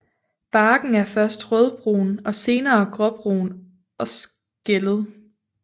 Barken er først rødbrun og senere gråbrun og skællet